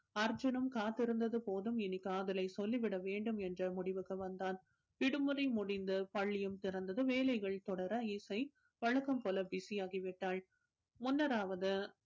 அர்ஜுனும் காத்திருந்தது போதும் இனி காதலை சொல்லி விட வேண்டும் என்ற முடிவுக்கு வந்தான் விடுமுறை முடிந்து பள்ளியும் திறந்தது வேலைகள் தொடர இசை வழக்கம் போல busy ஆகிவிட்டாள் முன்னர் ஆவது